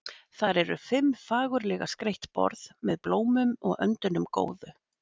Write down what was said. Þar eru fimm fagurlega skreytt borð, með blómum og öndunum góðu.